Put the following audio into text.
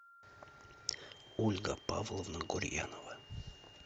ольга павловна гурьянова